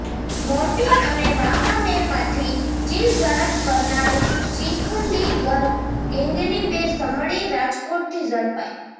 મોરબી અને વાંકાનેરમાંથી ચીલઝડપ કરનાર ચીખલીગર ગેંગની બે સમડી રાજકોટથી ઝડપાઈ